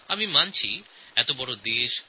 আমি জানি আমাদের দেশ বিশাল